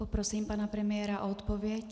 Poprosím pana premiéra o odpověď.